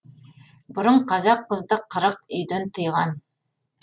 бұрын қазақ қызды қырық үйден тыйған